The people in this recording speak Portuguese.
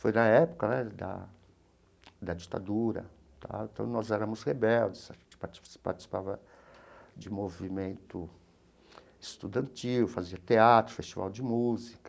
Foi na época né da da ditadura tá, então nós éramos rebeldes, participava de movimento estudantil, fazia teatro, festival de música.